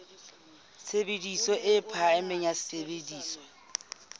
tshebediso e phahameng ya sesebediswa